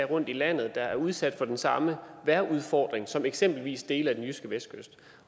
rundt i landet der er udsat for den samme vejrudfordring som eksempelvis dele af den jyske vestkyst